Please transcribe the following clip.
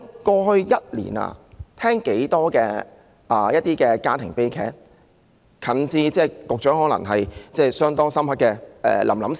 過去一年，我們聽到很多家庭悲劇，較近期的可能有局長印象相當深刻的"臨臨"事件。